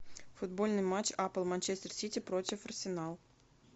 футбольный матч апл манчестер сити против арсенал